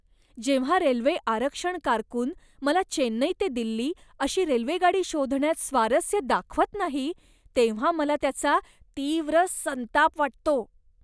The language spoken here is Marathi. जेव्हा रेल्वे आरक्षण कारकून मला चेन्नई ते दिल्ली अशी रेल्वेगाडी शोधण्यात स्वारस्य दाखवत नाही, तेव्हा मला त्याचा तीव्र संताप वाटतो.